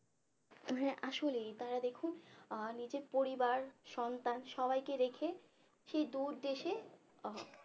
তো হ্যাঁ আসলেই তারা যে খুব নিজের পরিবার সন্তান সবাইকে রেখে সে দূর দেশে আহ